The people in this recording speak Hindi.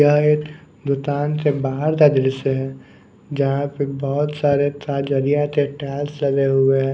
यह एक दूतान से बाहर का दृश्य है जहाँ पे बहुत सारे ताजरिया से टाइल्स लगे हुए हैं।